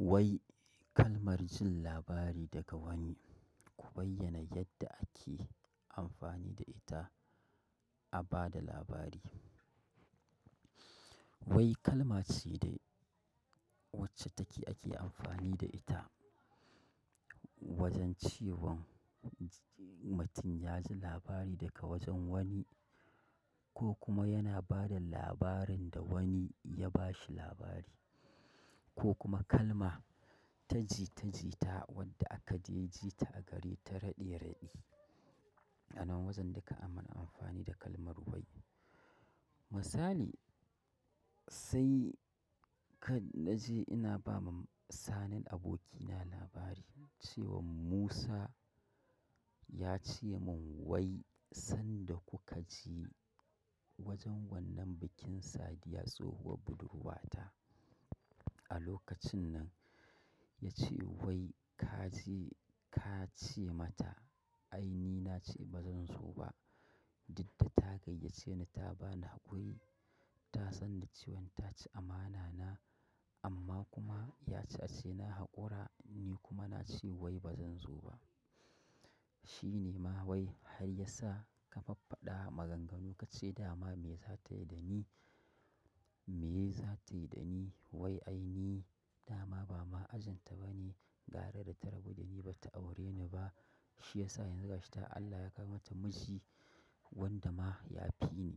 Wai kalmar jin labari daga wani, ku bayyana yadda ake amfani da ita. A ba da labari. Wai kalma ce dai wacce take ake amfani da ita wajen cewa mutum ya ji labari daga wajen wani. Ko kuma yana ba da labarin da wani ya ba shi labari ko kuma kalma ta jitajita wadda aka dai ji ta a gari ta raɗe raɗe. Nan wajen duka an mana amfani da kalmar wai. Misali, sai ka na je ina ba ma Sani abokina labari cewa Musa ya ce mun wai sanda kuka ji wajen wannan bikin Sadiya tsohuwar budurwata. A lokacin nan ya ce wai ka je, ka ce mata ai ni na ce ba zan zo ba. Dida ta gayyace ni ta ba ni haƙuri. Ta sanda ce wai ta ci amana na amma kuma ya ci ace na haƙura ni kuma na ce wai ba zan zo ba. Shi ne ma wai har ya sa ka faffada maganganu ka ce dama me za ta yi da ni, me za ta yi da ni? Wai ai ni dama ba ma ajin ta ba ne. Gara da ta rabu da ni ba ta aure ni ba. Shi ya sa yanzu gashi ta Allah ya kawomata miji wanda ma ya fi ni.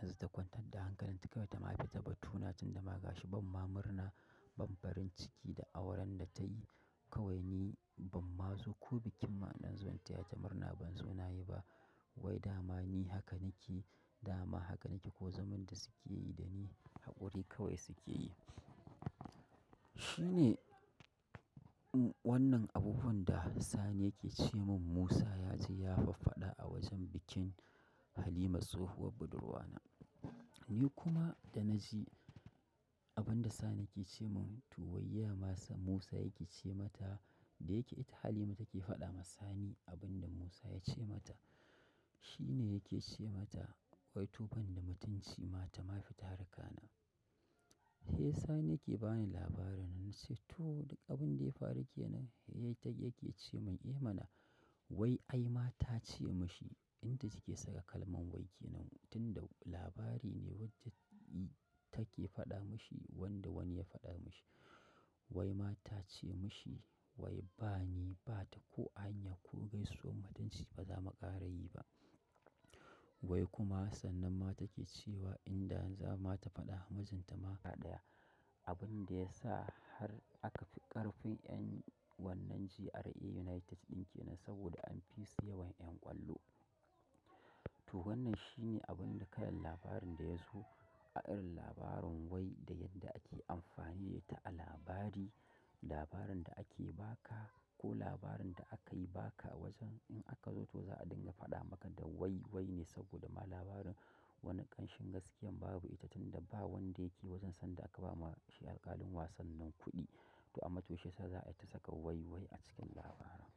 Yanzu ta kwantar da hankalin ta kawai ta ma fi ta ba tuna tunda ma gashi bam ma murna bam farin ciki da auren da ta yi. Kawai ni ban mazo ko bikin ma in dan zo in taya ta murna ban zo nayi ba. Wai dama ni haka nake, dama haka nake ko zaman da suke yi da ni haƙuri kawai suke yi. Shi ne wannan abubuwan da Sani yake ce mun Musa ya ce ya faffada a wajen bikin Halima tsohuwar budurwana. Ni kuma da na ji abun da Sani ke ce mun to wai ya masa Musa yake ce mata da yake ita Halima take faɗa ma Sani abin da Musa ya ce mata. Shi ne yake ce mata wai to ban da mutunci ma ta ma fi ta harkana. Sai sani ke bani labarin ni ce toh duk abun da ya faru kenan. Eh ta yake ce mun eh mana. Wai ai ma ta ce mishi inda take sa kalman wai kenan tunda labari ne wadda take faɗa mishi wanda wani ya faɗa mishi. Wai ma ta ce mishi wai ba ni bata ko a hanya ko gaisuwar mutunci baza mu ƙara yi ba. Wai kuma sannan ma take cewa inda za ma ta faɗa majinta ma gaba ɗaya. Abun da ya sa har aka ƙarfin yan wannan GRA United ɗin kenan saboda an fi su yawan ƴan ƙwallo. To wannan shi ne abun da kayan labarin da ya zo. Irin labarin wai da yadda ake amfani da ita a labari, labarin da ake baka ko labarin da akai baka wajen in aka zo toh za'a dinga faɗa maka da wai wai ne saboda ma labarin. Wani ƙanshin gaskiya babu ita tunda ba wanda yake wajen sanda aka bama shi alkalin wasan nan kuɗi. To a matushe sa za'a ta saka wai wai a cikin labarin.